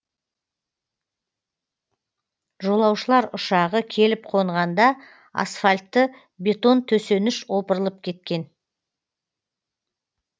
жолаушылар ұшағы келіп қонғанда асфальтты бетон төсеніш опырылып кеткен